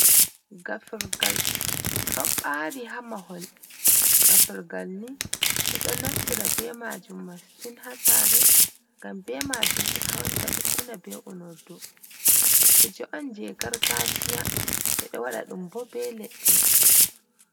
Gafurgal don bari ha mahol gafurgal ni, bedon naftira be majum mastin ha sare, ngam be majum be hautata be una be unordu, kuje on je gargajiya e do wada dum bo be ledde.